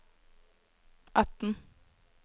atten